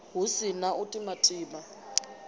hu si na u timatima